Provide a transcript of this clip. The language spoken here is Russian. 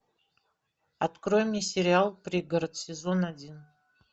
открой мне сериал пригород сезон один